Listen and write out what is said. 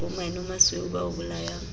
bo menomasweu ba o bolayang